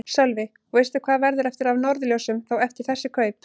Sölvi: Og veistu hvað verður eftir af Norðurljósum þá eftir þessi kaup?